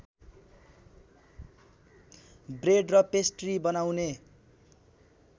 bread र pastry बनाउने